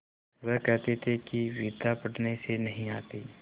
वह कहते थे कि विद्या पढ़ने से नहीं आती